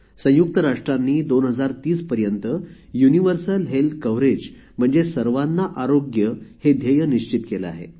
संयुक्त राष्ट्रांनी २०३० पर्यंत युनिवर्सल हेल्थ कव्हरेज म्हणजे सर्वांना आरोग्य हे ध्येय निश्चित केले आहे